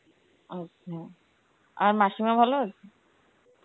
আচ্ছা, আর মাসিমা ভালো আছে?